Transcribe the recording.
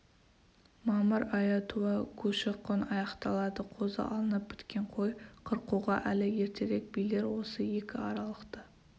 мамыр айы туа көші-қон аяқталады қозы алынып біткен қой қырқуға әлі ертерек билер осы екі аралықты